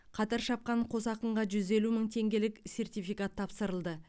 қатар шапқан қос ақынға жүз елу мың теңгелік сертификат тапсырылды